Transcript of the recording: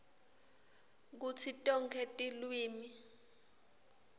kutsi tonkhe tilwimi